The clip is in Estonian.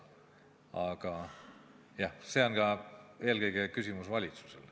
Aga jah, see on eelkõige küsimus valitsusele.